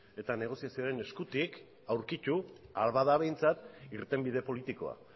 eta negoziazioaren eskutik aurkitu ahal bada behintzat irtenbide politikoa